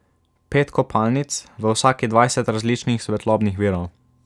Pet kopalnic, v vsaki dvajset različnih svetlobnih virov.